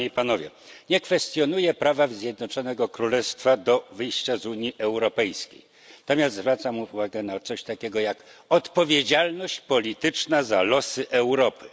Nie kwestionuję prawa Zjednoczonego Królestwa do wyjścia z Unii Europejskiej, natomiast zwracam uwagę na coś takiego jak odpowiedzialność polityczna za losy Europy.